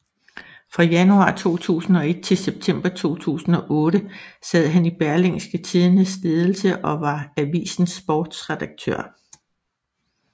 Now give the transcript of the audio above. Fra januar 2001 til september 2008 sad han i Berlingske Tidendes ledelse og var avisens sportsredaktør